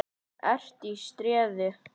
ERT Í STREÐI.